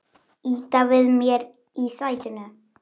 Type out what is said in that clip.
Ýta við mér í sætinu.